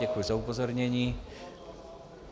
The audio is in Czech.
Děkuji za upozornění.